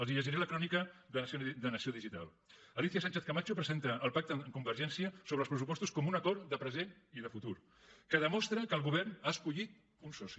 els llegiré la crònica de nació digitalcamacho presenta el pacte amb convergència sobre els pressupostos com un acord de present i de futur que demostra que el govern ha escollit un soci